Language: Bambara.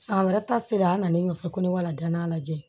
San wɛrɛ ta sera an na ne nɔfɛ ko ne ka dann'a lajɛ